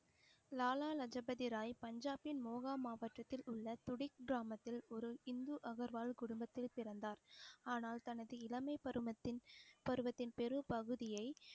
லாலா லஜபதி ராய் பஞ்சாபின் மோகா மாவட்டத்தில் உள்ள துடிக் கிராமத்தில் ஒரு இந்து அகர்வால் குடும்பத்தில் பிறந்தார் ஆனால் தனது இளமை பருவத்தின் பருவத்தின் பெரும்பகுதியை